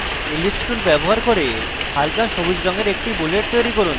ellipse tool ব্যবহার করে হালকা সবুজ রঙের একটি bullet তৈরী করুন